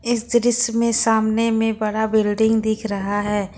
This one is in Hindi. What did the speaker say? इस दृश्य में सामने में बड़ा बिल्डिंग दिख रहा है।